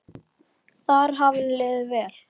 Þar hafði henni liðið vel.